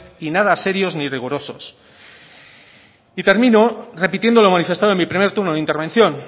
y nada serios ni rigurosos y termino repitiendo lo manifestado en mi primer turno de intervención